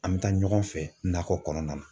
An bɛ taa ɲɔgɔn fɛ nakɔ kɔnɔna na